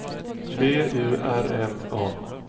B U R M A